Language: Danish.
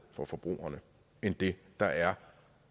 for forbrugerne end det der er